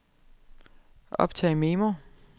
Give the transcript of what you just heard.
optag memo